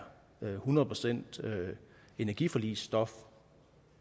hundrede procent energiforligsstof